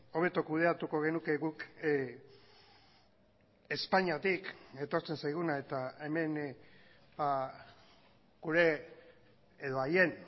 hobeto kudeatuko genuke guk espainiatik etortzen zaiguna eta hemen gure edo haien